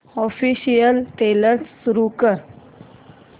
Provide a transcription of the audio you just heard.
official trailer सुरू कर